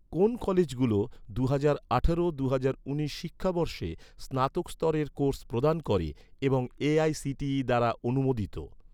কোন কলেজগুলো, দুহাজার আঠারো দুহাজার উনিশ শিক্ষাবর্ষে স্নাতক স্তরের কোর্স প্রদান করে এবং এ.আই.সি.টি.ই দ্বারা অনুমোদিত?